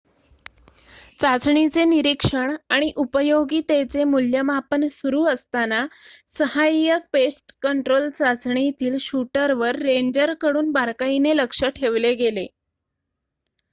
चाचणीचे निरीक्षण आणि उपयोगीतेचे मूल्यमापन सुरू असताना सहाय्यक पेस्टकंट्रोल चाचणीतील शूटरवर रेंजरकडून बारकाईने लक्ष ठेवले गेले